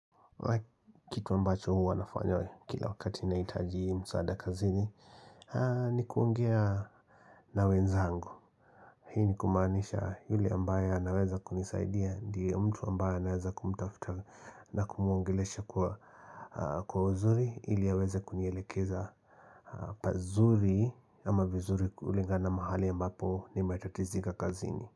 Kitu ambacho huwa nafanya kila wakati nahitaji msaada kazini ni kuongea na wenzangu Hii ni kumaanisha yule ambaye anaweza kunisaidia Ndio mtu ambaye anaweza kumtafuta na kumuongelesha kwa uzuri ili aweze kunielekeza pazuri ama vizuri kulingana mahali ambapo nimetatizika kazini.